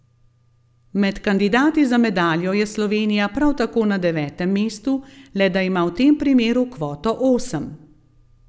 Med kandidati za medaljo je Slovenija prav tako na devetem mestu, le da ima v tem primeru kvoto osem.